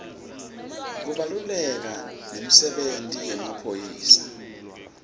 kubaluleka nemdebenti yemaphaphy